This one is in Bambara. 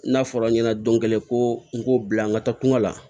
N'a fɔra n ɲɛnɛ don kelen ko n k'o bila n ka taa kungo la